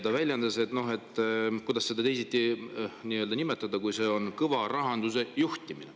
Ta väljendas, et see on – kuidas seda teisiti nimetada – kõva rahanduse juhtimine.